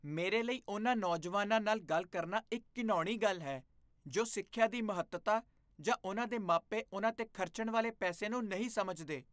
ਮੇਰੇ ਲਈ ਉਨ੍ਹਾਂ ਨੌਜਵਾਨਾਂ ਨਾਲ ਗੱਲ ਕਰਨਾ ਇੱਕ ਘਿਣਾਉਣੀ ਗੱਲ ਹੈ ਜੋ ਸਿੱਖਿਆ ਦੀ ਮਹੱਤਤਾ ਜਾਂ ਉਨ੍ਹਾਂ ਦੇ ਮਾਪੇ ਉਨ੍ਹਾਂ 'ਤੇ ਖਰਚਣ ਵਾਲੇ ਪੈਸੇ ਨੂੰ ਨਹੀਂ ਸਮਝਦੇ।